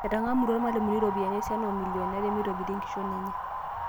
Etang'amutua ilmalimuni ropiyiani esiana oo milioni are peitobirie enkishon enye